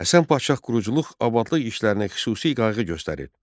Həsən Paşa quruculuq abadlıq işlərinə xüsusi qayğı göstərirdi.